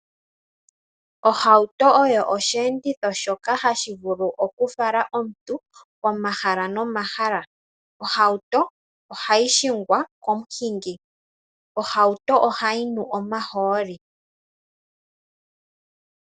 Ohauto oyo osheenditho shoka hashi vulu okufala omuntu komahala no mahala. Ohauto oha yi hingwa komuhingi. Ohauto oha yi nu omahooli.